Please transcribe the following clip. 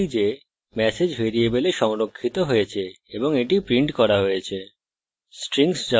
আমরা দেখতে পারি যে ম্যাসেজ ভ্যারিয়েবলে সংরক্ষিত হয়েছে এবং এটি printed করা হয়েছে